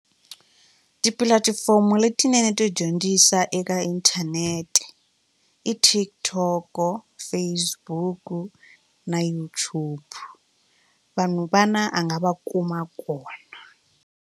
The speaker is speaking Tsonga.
Tipulatifomo letinene to dyondzisa eka inthanete i TikTok, Facebook na YouTube vanhu vana a nga va kuma kona.